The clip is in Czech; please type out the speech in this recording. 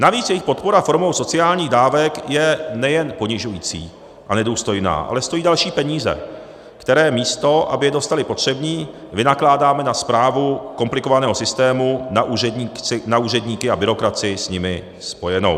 Navíc jejich podpora formou sociálních dávek je nejen ponižující a nedůstojná, ale stojí další peníze, které místo aby je dostali potřební, vynakládáme na správu komplikovaného systému, na úředníky a byrokracii s tím spojenou.